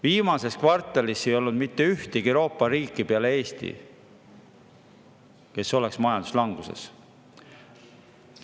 Viimases kvartalis ei olnud mitte ühtegi teist Euroopa riiki, kes olnuks majanduslanguses.